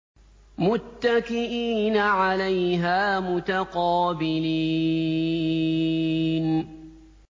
مُّتَّكِئِينَ عَلَيْهَا مُتَقَابِلِينَ